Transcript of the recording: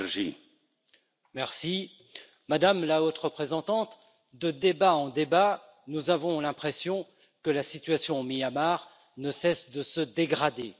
Monsieur le Président, Madame la Haute représentante, de débat en débat, nous avons l'impression que la situation au Myanmar ne cesse de se dégrader.